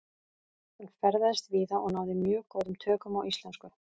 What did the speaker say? Hann ferðaðist víða og náði mjög góðum tökum á íslensku.